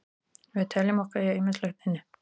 Við teljum okkur eiga ýmislegt inni.